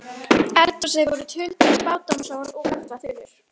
eldhúsinu voru tuldruð spádómsorð og galdraþulur.